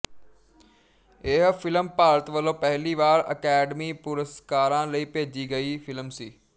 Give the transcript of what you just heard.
ਇਹ ਫਿਲਮ ਭਾਰਤ ਵਲੋਂ ਪਹਿਲੀ ਵਾਰ ਅਕਾਦਮੀ ਪੁਰਸਕਾਰਾਂ ਲਈ ਭੇਜੀ ਗਈ ਫਿਲਮ ਸੀ